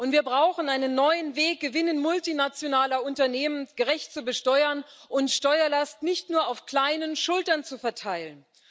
Wir brauchen einen neuen Weg, Gewinne multinationaler Unternehmen gerecht zu besteuern und Steuerlast nicht nur auf kleinen Schultern zu verteilen.